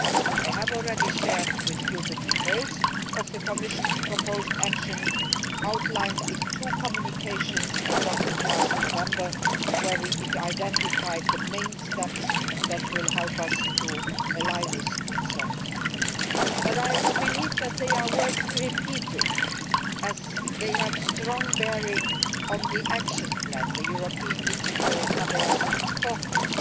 I have already shared with you the details of the Commission's proposed actions, outlined in two communications adopted last November, where we identified the main steps that will help us to allay these concerns. But I believe that they are worth repeating, as they have a strong bearing on the action plan for the European Digital Habeas Corpus